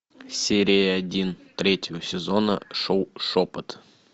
серия один третьего сезона шоу шепот